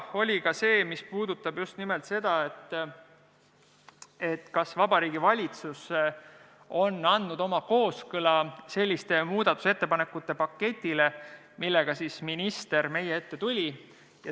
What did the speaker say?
Oli jutuks ka see, kas Vabariigi Valitsus on andnud oma kooskõlastuse selliste muudatusettepanekute paketile, millega minister meie ette tuli.